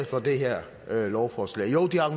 for det her lovforslag jo de har